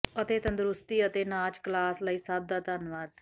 ਅਤੇ ਤੰਦਰੁਸਤੀ ਅਤੇ ਨਾਚ ਕਲਾਸ ਲਈ ਸਭ ਦਾ ਧੰਨਵਾਦ